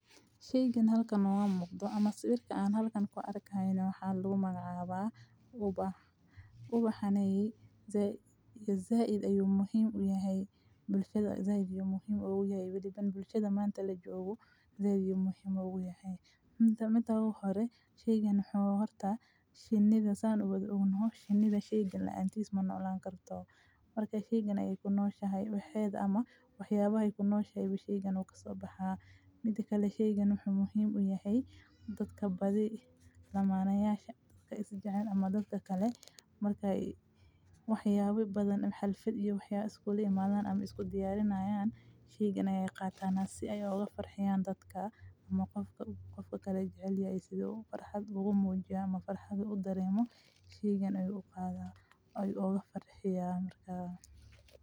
Shiigen halkan oo waan muuqdo ama sawirka aan halkan ku arkaayno waxaa loo magacaabaa ubax ubaxaneyn. Zaiid ayuu muhiim u yahay bulshada. Zaahida muhiim ugu yahay bilban bulshada maanta la joogo. Zaahid muhiim ugu yahay. Mida midahood hore shiigan xoo horta shinida ayaan ugu weydii ugu noqon. Shinida shiiganla aan tiis mana olaan kartaa. Markay shiigan ay ku nooshahay waxyeed ama waxyaabahay ku nooshahay bishii shiiganu ka soo baxaa. Midka la shiigo nux muhiim u yahay dadka badi iyo lamaanayaasha ka is jecel ama dadka kale markay waxyaabu badan xalfad iyo waxyaab iskuulimaadan ama isku diyaarinayaan. Shiigan aya qaatanaa si ay uga farxiyaan dadka ama qofka u qofka kale jecel. Isaguu farxad ugu muujyo ama farxadu u dareemo, shiigan ay u qaadaa ay u oga farxiyaan markaa.